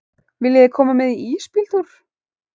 Viljiði koma með í ísbíltúr?